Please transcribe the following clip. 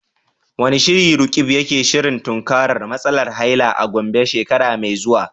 Wane shiri Roqeeb yake shirin tunkarar matsalar haila a Gombe shekara mai zuwa?